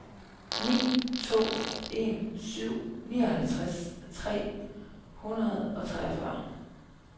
ni to en syv nioghalvtreds tre hundrede og treogfyrre